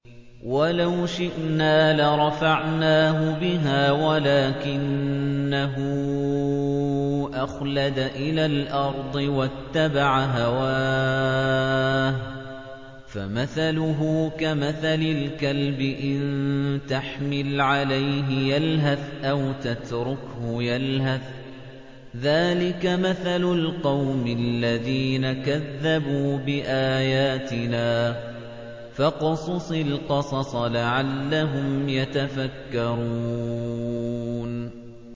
وَلَوْ شِئْنَا لَرَفَعْنَاهُ بِهَا وَلَٰكِنَّهُ أَخْلَدَ إِلَى الْأَرْضِ وَاتَّبَعَ هَوَاهُ ۚ فَمَثَلُهُ كَمَثَلِ الْكَلْبِ إِن تَحْمِلْ عَلَيْهِ يَلْهَثْ أَوْ تَتْرُكْهُ يَلْهَث ۚ ذَّٰلِكَ مَثَلُ الْقَوْمِ الَّذِينَ كَذَّبُوا بِآيَاتِنَا ۚ فَاقْصُصِ الْقَصَصَ لَعَلَّهُمْ يَتَفَكَّرُونَ